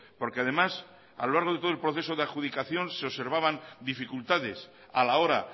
porque además a lo largo de todo el proceso de adjudicación se observaban dificultades a la hora